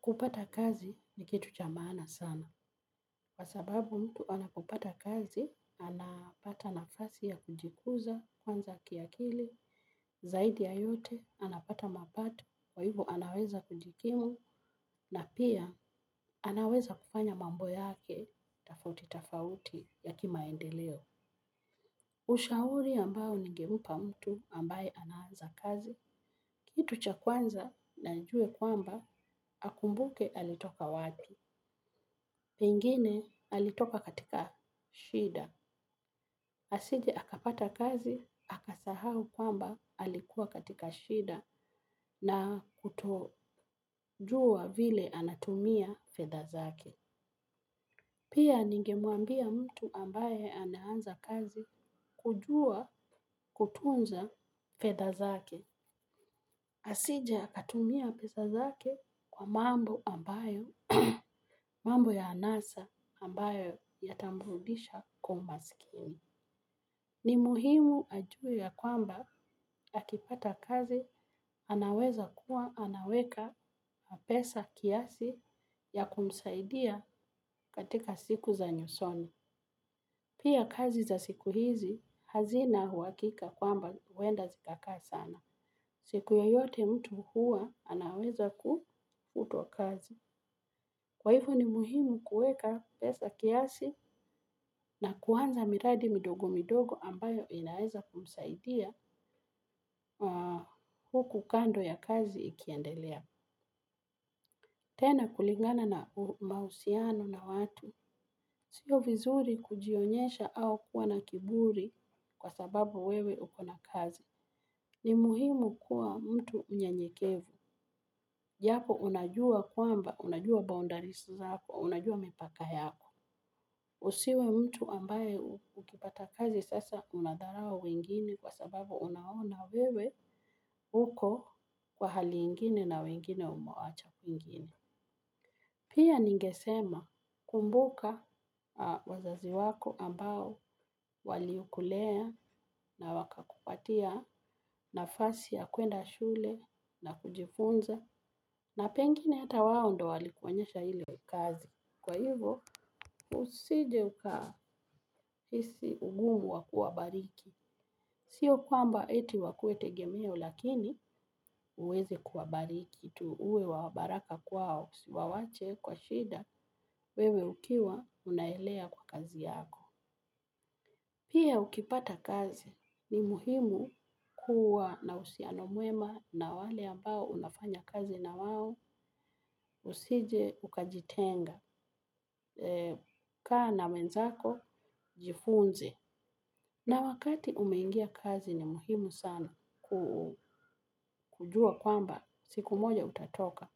Kupata kazi ni kitu cha maana sana. Kwa sababu mtu anapopata kazi, anapata nafasi ya kujikuza, kwanza kiakili, zaidi ya yote, anapata mapati, waivu anaweza kujikimu, na pia anaweza kupfanya mambo yake, tafauti tafauti ya kimaendeleo. Ushauri ambao nigemupa mtu ambaye anaanza kazi. Kitu cha kwanza na njue kwamba akumbuke alitoka wapi. Pengine alitoka katika shida. Asije akapata kazi, akasahau kwamba alikuwa katika shida na kutojua vile anatumia fedha zake. Pia ningemuambia mtu ambaye anaanza kazi kujua kutunza fedha zake. Asije akatumia pesa zake kwa mambo ambayo, mambo ya anasa ambayo yatamrudisha kwa umasikini. Ni muhimu ajue ya kwamba akipata kazi anaweza kuwa anaweka pesa kiasi ya kumsaidia katika siku za nyusoni. Pia kazi za siku hizi hazina huakika kwamba uwenda zikaka sana. Siku yoyote mtu anaweza kufutwa kazi kwa ivo ni muhimu kueka pesa kiasi na kuanza miradi midogo midogo ambayo inaweza kumsaidia huku kando ya kazi ikiendelea. Tena kulingana na mausiano na watu. Sio vizuri kujionyesha au kuwa na kiburi kwa sababu wewe ukona kazi. Ni muhimu kuwa mtu mnyenyekevu. Japo unajua kwamba, unajua boundaris zako, unajua mipaka yako. Usiwe mtu ambaye ukipata kazi sasa unadharau wengine kwa sababu unaona wewe uko kwa hali ingine na wengine umewaacha kwingine. Pia ningesema kumbuka wazazi wako ambao walikulea na waka kupatia nafasi ya kuenda shule na kujifunza na pengine hata wao ndo walikuonyesha ile kazi. Kwa hivo, usije ukahisi ugumu wa kuwabariki. Sio kwamba eti wakue tegemeo lakini uweze kuwabariki. Tu uwe wabaraka kwao. Siwawache kwa shida wewe ukiwa unaelea kwa kazi yako. Pia ukipata kazi ni muhimu kuwa na usianomwema na wale ambao unafanya kazi na wawo usije ukajitenga, kaa na wenzako jifunze. Na wakati umengia kazi ni muhimu sana kujua kwamba siku moja utatoka.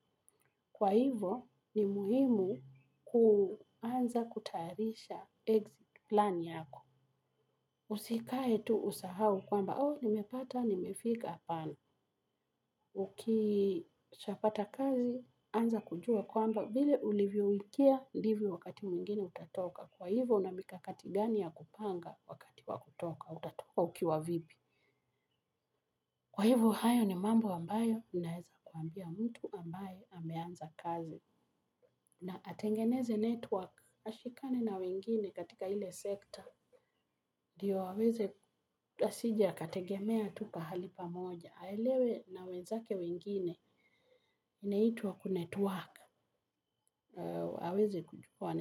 Kwa hivo ni muhimu kuanza kutarisha exit plan yako. Usikae tu usahau kwamba au nimepata nimefika apana. Ukisha pata kazi anza kujua kwamba vile ulivyo wikia ndivyo wakati mwingine utatoka. Kwa ivo unamikakati gani ya kupanga kwa hivyo hayo ni mambo ambayo unaeza kuambia mtu ambaye ameanza kazi. Na atengeneze network, ashikane na wengine katika hile sekta, ndiyo aweze asije akategemea tu pahali pamoja, aelewe na wezake wengine inaitwa kunetwork aweze kuchukua.